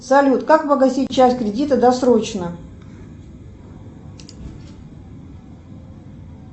салют как погасить часть кредита досрочно